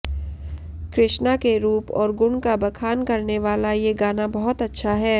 कृष्णा के रूप और गुण का बखान करने वाला ये गाना बहुत अच्छा है